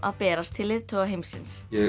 að berast til leiðtoga heimsins ég